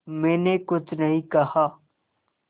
मैंने कुछ नहीं कहा